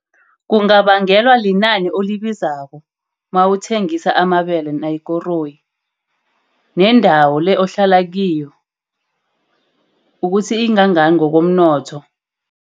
Kungabangelwa linani olibizako mawuthengisa amabele nayikoroyi. Nendawo le ohlala kiyo ukuthi ingangani ngokomnotho.